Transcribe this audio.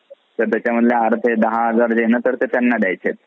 तर त्याच्यातले अर्धे दहा हजार ते त्यांना द्यायचे.